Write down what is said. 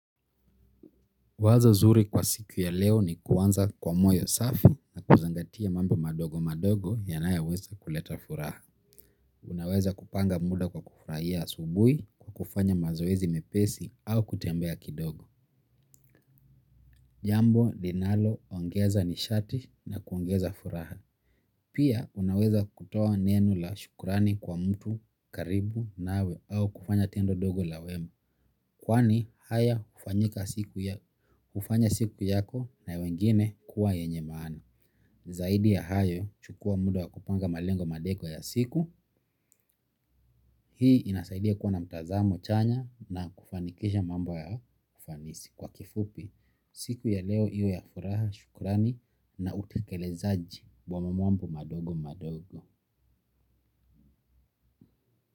Wazo zuri kwa siku ya leo ni kuanza kwa moyo safi na kuzingatia mambo madogo madogo yanayoweza kuleta furaha. Unaweza kupanga muda kwa kufurahia asubuhi, kufanya mazoezi mepesi au kutembea kidogo. Jambo, linaloongeza nishati na kuongeza furaha. Pia unaweza kutoa neno la shukrani kwa mtu wa karibu nawe au kufanya tendo dogo la wema. Kwani haya hufanya siku yako na wengine kuwa yenye maani. Zaidi ya hayo chukua muda wa kupanga malengo madeko ya siku. Hii inasaidia kuwa na mtazamo chanya na kufanikisha mambo kwa ufanisi. Kwa kifupi, siku ya leo iwe ya furaha, shukrani na utekelezaji wa mambo madogo madogo.